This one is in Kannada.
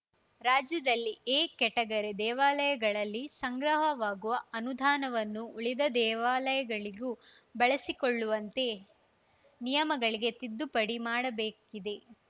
ರಾಜ್ಯದಲ್ಲಿ ಎ ಕೆಟಗರಿ ದೇವಾಲಯಗಳಲ್ಲಿ ಸಂಗ್ರಹವಾಗುವ ಅನುದಾನವನ್ನು ಉಳಿದ ದೇವಾಲಯಗಳಿಗೂ ಬಳಸಿಕೊಳ್ಳುವಂತೆ ನಿಯಮಗಳಿಗೆ ತಿದ್ದುಪಡಿ ಮಾಡಬೇಕಿದೆ